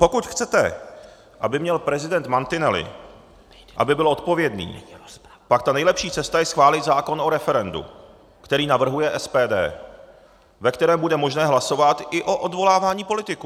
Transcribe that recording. Pokud chcete, aby měl prezident mantinely, aby byl odpovědný, pak ta nejlepší cesta je schválit zákon o referendu, který navrhuje SPD, ve kterém bude možné hlasovat i o odvolávání politiků.